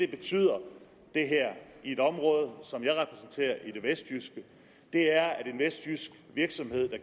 betyder i et område som jeg repræsenterer i det vestjyske er at en vestjysk virksomhed der